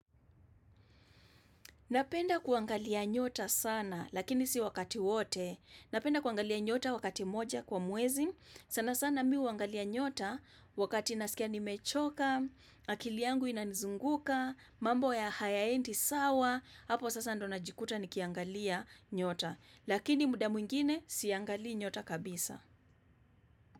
Napenda kuangalia nyota sana, lakini si wakati wote. Napenda kuangalia nyota wakati moja kwa mwezi. Sana sana mi huangalia nyota wakati nasikia nimechoka, akili yangu inanizunguka, mambo ya hayaendi sawa, hapo sasa ndio najikuta nikiangalia nyota. Lakini muda mwingine siangali nyota kabisa.